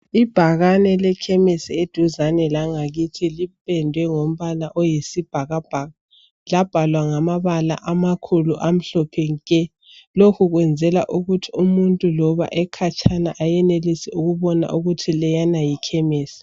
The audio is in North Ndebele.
Ibhakane lekhemisi eduzane langakithi lipendwe ngombala oyisibhakabhaka. Labhalwa ngamabala amakhulu amhlophe nke. Lokhu kwenzela ukuthi umuntu loba ekhatshana ayenelise ukubona ukuthi leyana yikhemisi.